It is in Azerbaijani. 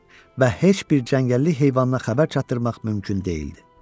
Və heç bir cəngəllik heyvanına xəbər çatdırmaq mümkün deyildi.